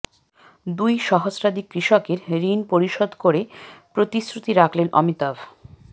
দুই সহস্রাধিক কৃষকের ঋণ পরিশোধ করে প্রতিশ্রুতি রাখলেন অমিতাভ